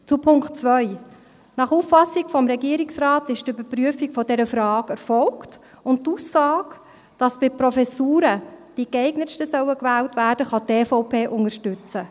Zum Punkt 2: Nach Auffassung des Regierungsrates ist die Überprüfung dieser Frage erfolgt, und die Aussage, dass bei Professuren die Geeignetsten gewählt werden sollen, kann die EVP unterstützen.